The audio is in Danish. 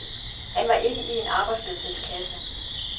Han var ikke i en arbejdsløshedskasse.